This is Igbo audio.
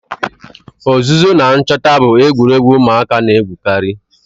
Ozuzo na nchota bu egwuregwu umuaka na-egwukari.